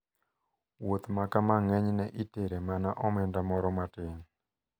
Wuoth makama ng`enyne itere mana omenda moro matin.